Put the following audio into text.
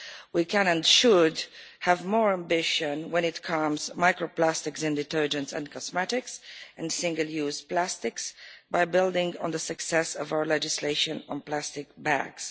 We can and should have more ambition when it comes to micro plastics in detergents in detergents and cosmetics and single use plastics, by building on the success of our legislation on plastic bags.